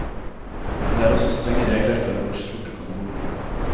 Det er også strenge regler for hvor stort du kan bo.